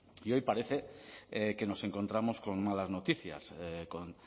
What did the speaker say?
y hoy parece que nos encontramos con malas noticias con